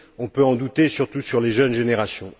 On peut en douter, surtout chez les jeunes générations.